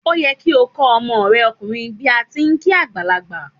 Ó yẹ kí o kó ọmọ re okùnrin bíí ati n kí àgbàlagbà